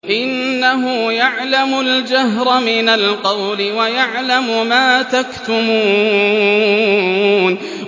إِنَّهُ يَعْلَمُ الْجَهْرَ مِنَ الْقَوْلِ وَيَعْلَمُ مَا تَكْتُمُونَ